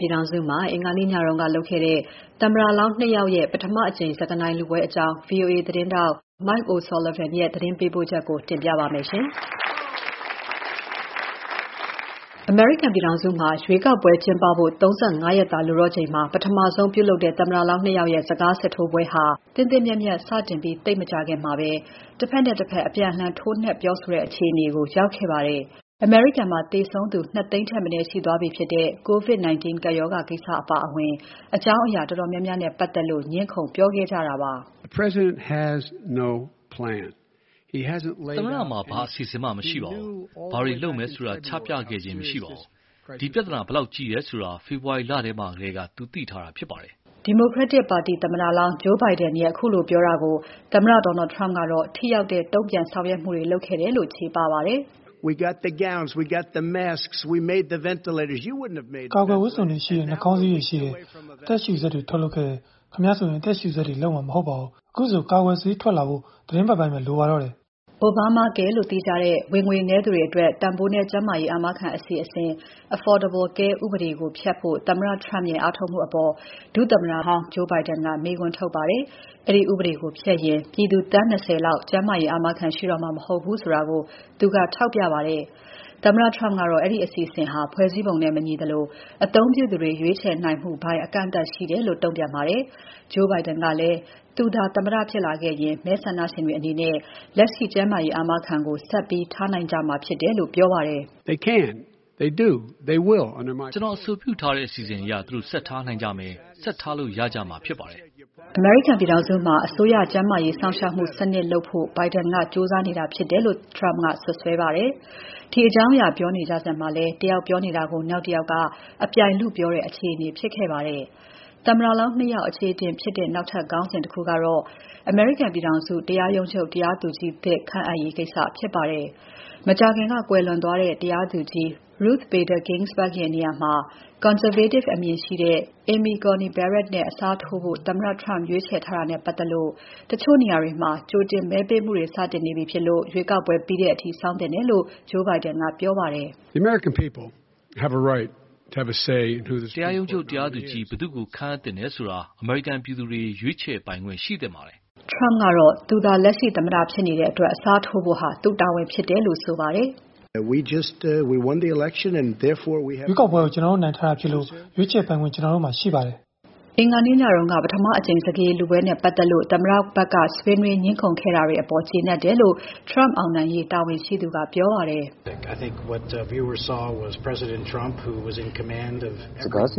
ပြည်ထောင်စုမှာ အင်္ဂါနေ့ညက ပြုလုပ်ခဲ့တဲ့ သမ္မတလောင်း နှစ် ယောက်ရဲ့ ပထမအကြိမ် စကားနိုင်လုပွဲအကြောင်း VOA သတင်းထောက် Mike O’Sullivan ရဲ့ သတင်းပေးပို့ချက်ကို မစုမြတ်မွန်က တင်ပြပါမယ်။ အမေရိကန်ပြည်ထောင်စုမှာ ရွေးကောက်ပွဲကျင်းပဖို့ ၃၅ ရက်သာ လိုတော့ချိန်မှာ ပထမဆုံးပြုလုပ်တဲ့ သမ္မတလောင်း နှစ် ယောက်ရဲ့ စကားစစ်ထိုးပွဲဟာ သင့်သင့်မြတ်မြတ် စတင်ပြီး သိပ်မကြာခင်မှာပဲ တဘက်နဲ့တဘက် အပြန်အလှန် ထိုးနှက်ပြောဆိုတဲ့ အခြေအနေကိုရောက်ခဲ့ပါတယ်။ အမေရိကန်မှာ သေဆုံးသူ ၂၀၀,၀၀၀ ထက်မနည်း ရှိသွားပြီဖြစ်တဲ့ COVID-19 ကပ်ရောဂါကိစ္စအပါအဝင် အကြောင်းအရာတော်တော်များများနဲ့ ပတ်သက်လို့ ငြင်းခုန် ပြောခဲ့ကြတာပါ။ "သမ္မတမှာ ဘာအစီအစဉ်မှ မရှိပါဘူး။ ဘာတွေလုပ်မယ်ဆိုတာ ချပြခဲ့ခြင်း မရှိပါဘူး။ ဒီပြဿနာ ဘယ်လောက်ကြီးတယ်ဆိုတာ ဖေဖော်ဝါရီလမှာထဲက သူ သိထားတာဖြစ်ပါတယ်။" Democratic ပါတီသမ္မတလောင်း Joe Biden ရဲ့ ခုလိုပြောတာကို သမ္မတ Donald Trump ကတော့ ထိရောက်တဲ့ တုံ့ပြန်ဆောင်ရွက်မှုတွေလုပ်ခဲ့တယ်လို့ ချေပပါတယ်။ "အကာအကွယ်ဝတ်စုံတွေ ရှိတယ်၊ နှာခေါင်းစည်းတွေ ရှိတယ်။ အသက်ရှုစက်တွေ ထုတ်လုပ်ခဲ့တယ်။ ခင်ဗျားဆိုရင် အသက်ရှုစက်တွေ လုပ်မှာ မဟုတ်ပါဘူး။ အခုဆို ကာကွယ်ဆေးထွက်လာဖို့ သီတင်းပတ်ပိုင်းပဲ လိုပါတော့တယ်။" Obamacare လို့သိကြတဲ့ ဝင်ငွေနည်းသူတွေအတွက် တန်ဖိုးနည်း ကျန်းမာရေး အာမခံအစီအစဉ် Affordable Care ဥပဒေကို ဖျက်ဖို့ သမ္မတ Trump ရဲ့ အားထုတ်မှုအပေါ် ဒုသမ္မတဟောင်း Biden က မေးခွန်းထုတ်ပါတယ်။ အဲဒီဥပဒေကို ဖျက်ရင် ပြည်သူ သန်း ၂၀ လောက် ကျန်းမာရေးအာမခံ ရှိတော့မှာ မဟုတ်ဘူးဆိုတာကို သူကထောက်ပြပါတယ်။ သမ္မတ Trump ကတော့ အဲဒီအစီအစဉ်ဟာ ဖွဲ့စည်းပုံနဲ့ မညီသလို အသုံးပြုသူတွေ ရွေးချယ်နိုင်မှုပိုင်း အကန့်အသတ်ရှိတယ်လို့ တုံ့ပြန်ပါတယ်။ Joe Biden ကလည်း သူသာ သမ္မတဖြစ်လာခဲ့ရင် မဲဆန္ဒရှင်တွေအနေနဲ့ လက်ရှိကျန်းမာရေးအာမခံကို ဆက်ပြီးထားနိုင်ကြမှာဖြစ်တယ်လို့ ပြောပါတယ်။ "ကျနော်အဆိုပြုထားတဲ့ အစီအစဉ်အရ သူတို့ ဆက်ထားနိုင်ကြမယ်၊ ဆက်ထားလို့ရကြမှာဖြစ်ပါတယ်။" အမေရိကန်ပြည်ထောင်စုမှာ အစိုးရကျန်းမာရေး စောင့်ရှောက်မှု စနစ်လုပ်ဖို့ Biden ကကြိုးစားနေတာဖြစ်တယ်လို့ Trump က စွပ်စွဲပါတယ်။ ဒီအကြောင်းအရာ ပြောနေကြစဉ်မှာလည်း တယောက်ပြောနေတာကို နောက်တယောက်က အပြိုင်လုပြောတဲ့ အခြေအနေဖြစ်ခဲ့ပါတယ်။ သမ္မတလောင်း နှစ် ယောက် အခြေအတင်ဖြစ်တဲ့ နောက်ထပ် ခေါင်းစဉ်တခုကတော့ အမေရိကန်ပြည်ထောင်စု တရားရုံးချုပ် တရားသူကြီးသစ် ခန့်အပ်ရေးကိစ္စဖြစ်ပါတယ်။ မကြာခင်ကကွယ်လွန်သွားတဲ့ တရားသူကြီး Ruth Bader Ginsburg ရဲ့ နေရာမှာ conservative အမြင်ရှိသူ Amy Coney Barrett ကို အစားထိုးခန့်ဖို့ သမ္မတ Trump ရွေးချယ်ထားတာနဲ့ပါတ်သက်လို့ တချို့နေရာတွေမှာ ကြိုတင်မဲပေးမှုတွေ စတင်နေပြီဖြစ်လို့ ရွေးကောက်ပွဲပြီးတဲ့အထိ စောင့်သင့်တယ်လို့ Joe Biden ကပြောပါတယ်။ "တရာရုံးချုပ်တရားသူကြီး ဘယ်သူ့ကို ခန့်အပ်သင့်တယ်ဆိုတာ အမေရိကန်ပြည်သူတွေ ရွေးချယ်ပိုင်ခွင့်ရှိသင့်ပါတယ်။" Trump ကတော့ သူဟာ လက်ရှိသမ္မတ ဖြစ်နေတဲ့အတွက် အစားထိုးဖို့ သူ့တာဝန်ဖြစ်တယ်လို့ ဆိုပါတယ်။ "ရွေးကောက်ပွဲကို ကျနော်တို့နိုင်ထားတာဖြစ်လို့ ရွေးချယ်ပိုင်ခွင့် ကျနော်တို့မှာဖြစ်ပါတယ်။" အင်္ဂါနေ့ညက ပထမကြိမ်စကားရည်လုပွဲနဲ့ ပတ်သက်လို့ သမ္မတဘက်က ဆွေးနွေး ငြင်းခုန်ခဲ့ကြတာတွေအပေါ် ကျေနပ်တယ်လို့ Trump အောင်နိုင်ရေး တာဝန်ရှိသူက ပြောပါတယ်။ "စကားစစ်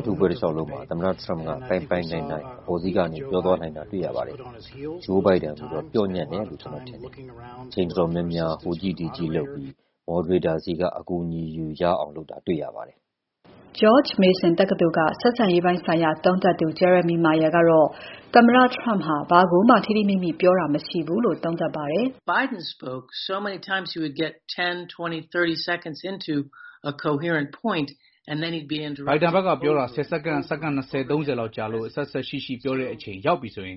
ထိုးပွဲ တလေ ျှာက်လုံးမှာ သမ္မတ Trump က ပိုင်ပိုင်နိုင်နိုင် အပေါ်စီးကနေ ပြောသွားနိုင်တာ တေ့ွရပါတယ်။ Joe Biden ကိုတော့ ပျော့ညံ့တယ်လို့ ကျနော်ထင်ပါတယ်။ အချိန်တော်တော်များများ ဟိုကြည့် ဒီကြည့်လုပ်ပြီး moderator ဆီက အကူအညီယူရအောင်လုပ်တာ တေ့ွရပါတယ်။" George Mason တက္ကသိုလ်က ဆက်ဆံရေးဆိုင်ရာ သုံးသပ်သူ Jeremy Mayer ကတော့ သမ္မတ Trump ဟာ ဘာကိုမှ ထိထိမိမိ ပြောတာ မရှိဘူးလို့ သုံးသပ်ပါတယ်။ "Biden ဘက်ကပြောတာ ၁၀ စက္ကန့်၊ စက္ကန့် ၂၀၊ ၃၀ လောက်ကြာလို့ အဆက်အစပ်ရှိရှိ ပြောတဲ့အချိန်ရောက်ပြီဆို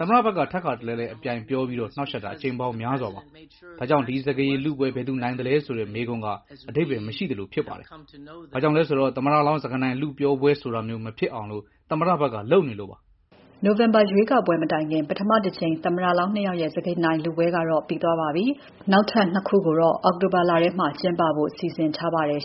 သမ္မတဘက်က ထပ်ခါတလဲလဲ အပြိုင်ပြောပြီး နှောင့်ယှက်တာ အကြိမ်ပေါင်းများစွာပါ။ ဒါကြောင့် ဒီစကားရည်လုပွဲ ဘယ်သူနိုင်လဲဆိုတဲ့ မေးခွန်းက အဓိပ္ပါယ်မရှိသလိုဖြစ်ပါတယ်။ ဘာကြောင့်လဲဆိုတော့ သမ္မလောင်း စကားနိုင်လုပြောပွဲဆိုတာမျိုး မဖြစ်အောင် သမ္မတဘက်က လုပ်နေလို့ပါပဲ။" နိုဝင်ဘာရွေးကောက်ပွဲ မတိုင်ခင် ပထမတကြိမ် သမ္မတလောင်း နှစ် ယောက်ရဲ့ စကားနိုင်လုပွဲကတော့ ပြီးသွားပါပြီ။ နောက်ထပ် နှစ် ခုကိုတော့ အောက်တိုဘာလထဲမှာ ကျင်းပဖို့ စီစဉ်ထားပါတယ်